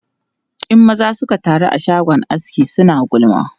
In maza suka taru a shagon aski, suna gulma.